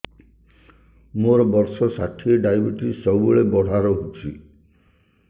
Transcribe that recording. ମୋର ବର୍ଷ ଷାଠିଏ ଡାଏବେଟିସ ସବୁବେଳ ବଢ଼ା ରହୁଛି